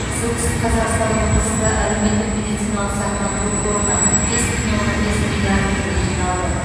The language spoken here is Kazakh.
солтүстік қазақстан облысында әлеуметтік медициналық сақтандыру қорына бес бүтін оннан бес миллиард теңге жиналды